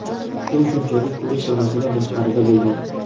U shunchaki ko‘rish zonasidan tashqarida bo‘lgan.